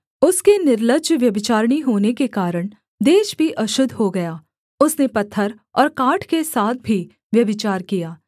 उसके निर्लज्जव्यभिचारिणी होने के कारण देश भी अशुद्ध हो गया उसने पत्थर और काठ के साथ भी व्यभिचार किया